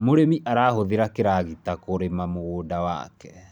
mũrĩmi arahuthira kĩragita kurima mũgũnda wake